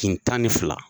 Kile tan ni fila